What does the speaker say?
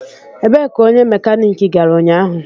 Ebee ka onye mekaniki gara ụnyaahụ?